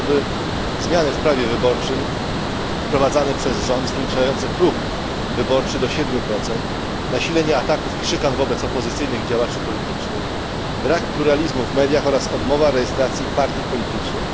Chociażby zmiany w prawie wyborczym wprowadzane przez rząd, zwiększające próg wyborczy do 7, nasilenia ataków i szykan wobec opozycyjnych działaczy politycznych, brak pluralizmu w mediach oraz odmowę rejestracji partii politycznych.